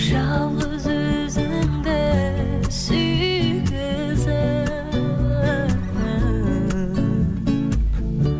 жалғыз өзіңді сүйгізіп